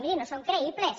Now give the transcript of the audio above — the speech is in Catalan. miri no són creïbles